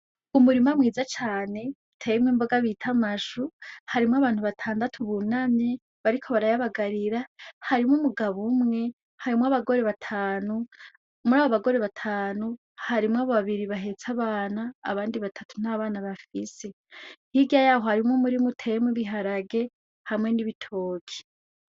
Umurima mwiza cane uteyemwo imboga bita amashu, harimwo abantu batandatu bunamye bariko barayabagarira harimwo umugabo umwe, harimwo abagore batanu ,muri abo bagore batanu harimwo babiri bahetse abana , abndi batatu ntabana bafise .Hirya yaho harimwo ibiharage harimwo n'ibitoki.